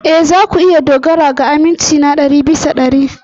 Ee, za ku iya dogara ga aminci na ɗari bisa ɗari.